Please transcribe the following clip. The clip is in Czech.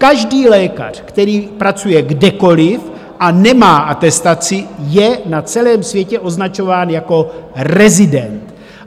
Každý lékař, který pracuje kdekoliv a nemá atestaci, je na celém světě označován jako rezident.